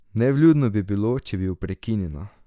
Nevljudno bi bilo, če bi ju prekinila.